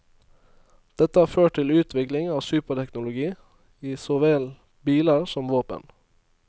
Dette har ført til utvikling av superteknologi i så vel biler som våpen.